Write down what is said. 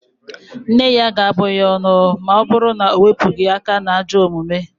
Nne ya ga-abụ ya ọnụ ma ọ bụru na o wepụghị aka n'ajọ omume